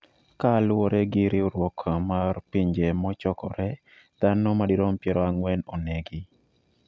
Kaluwore gi riwruok mar Pinje Mochokore, dhano madirom piero ang'wen onegi